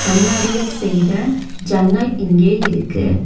கண்ணாடியில் செய்த ஜன்னல் இங்கே இருக்கு.